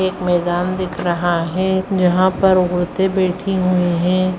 एक मैदान दिख रहा है जहाँ पर औरते बैठी हुई हैं।